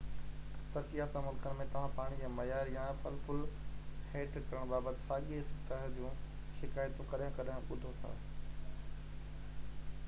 ترقي يافته ملڪن ۾ توهان پاڻي جي معيار يا پل پُل هيٺ ڪرڻ بابت ساڳئي سطح جون شڪايتون ڪڏهن ڪڏهن ٻڌو ٿا